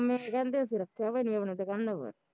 ਮਾਮੇ ਕਹਿੰਦੇ ਅਸੀਂ ਰੱਖਿਆ ਵਾ ਨੀ ਆਪਣੀਆ ਦੁਕਾਨਾ ਪਰ